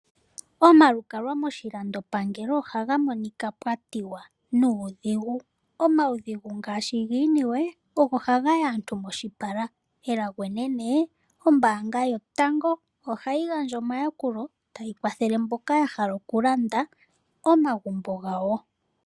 Omalukalwa moshilandopangelo ohaga monika pwatiwa nuudhigu. Omawudhigu ngaashi giiniwe ogo haga yo aantu moshipala elago enene ombaanga yotango ohayi gandja omayalulo tayi kwathele mboka yahala okulanda omagumbo gawo.